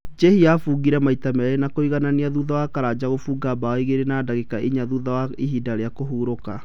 Njihia abungire maita merĩ na kũiganania thutha wa Karanja kũbunga mbao igĩrĩ na ndagĩka inya thutha wa ihinda rĩa kũhurũka.